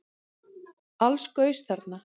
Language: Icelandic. Alls gaus þarna